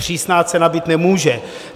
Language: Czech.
Přísná cena být nemůže.